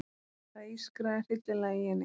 Það ískraði hryllilega í henni.